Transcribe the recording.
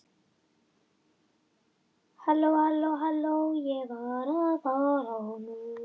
Síðan komu bara vonbrigði ofan á vonbrigði það sem eftir lifði í fyrstu ellefu leikjunum.